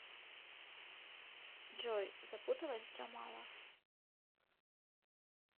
джой запуталась джамала